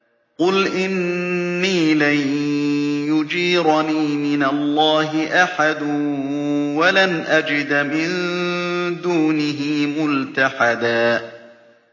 قُلْ إِنِّي لَن يُجِيرَنِي مِنَ اللَّهِ أَحَدٌ وَلَنْ أَجِدَ مِن دُونِهِ مُلْتَحَدًا